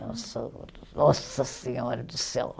Nossa, nossa senhora do céu.